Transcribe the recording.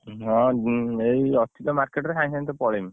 ହଁ, ଏଇ ଅଛି ତ market ରେ ସାଙ୍ଗେ ସାଙ୍ଗେ ଭିତରେ ପଳେଇମି।